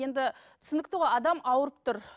енді түсінікті ғой адам ауырып тұр